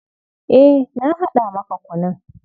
Eh, na haɗa maka kunun.